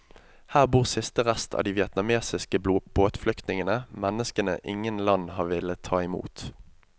Her bor siste rest av de vietnamesiske båtflyktningene, menneskene ingen land har villet ta imot.